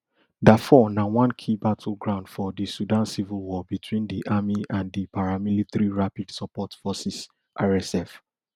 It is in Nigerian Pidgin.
dafur na one key battle ground for di sudan civil war between di army and di paramilitary rapid support forces rsf